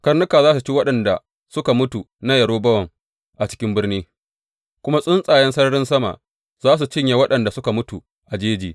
Karnuka za su ci waɗanda suka mutu na Yerobowam a cikin birni, kuma tsuntsayen sararin sama za su cinye waɗanda suka mutu a jeji.